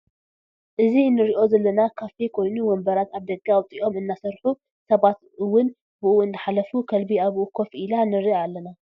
ኣዚ ኣንሪኦ ዘለና ካፊ ኮይኑ ውንብራት ኣብ ደገ ኣውፂኦም እናስርሑ ስባት ኡዉን ብኡ ኣንዳሓልፉ ከልቢ ኣብኡ ኮፍ ኢላ ንርኢ ኣልና ።